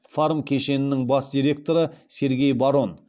фарм кешенінің бас директоры сергей барон